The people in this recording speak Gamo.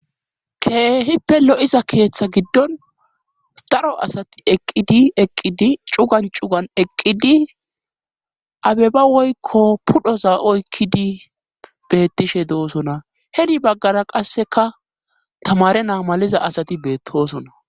keehippe lo7iza keeththa giddon daro asati eqqidi eqqidi cugan cugan eqqidi abeba woykko pudhoza oykkidi bettishe doosona heri baggara qasseka tamare naa maliza asati beettoosona